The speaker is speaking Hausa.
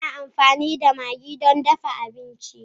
Ina amfani da maggi don dafa abinci.